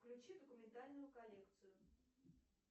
включи документальную коллекцию